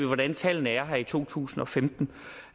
hvordan tallene her i to tusind og femten